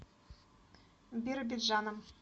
биробиджаном